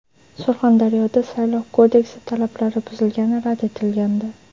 Surxondaryoda Saylov kodeksi talablari buzilgani rad etilgandi.